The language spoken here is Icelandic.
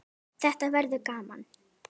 Þetta verður gaman